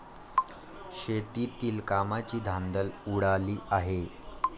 शेतीतील कामांची धांदल उडाली आहे.